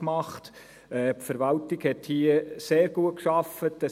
Die Verwaltung hat hier sehr gut gearbeitet.